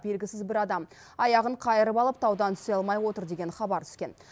белгісіз бір адам аяғын қайырып алып таудан түсе алмай отыр деген хабар түскен